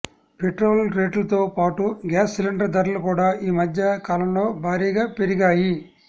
పెట్రోరేట్లతో పాటు gas cylinder ధరలు కూడా ఈ మధ్య కాలంలో భారీగా పెరిగాయి